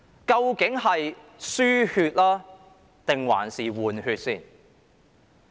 究竟是"輸血"還是"換血"？